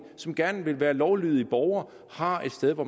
som gerne vil være lovlydige borgere har et sted hvor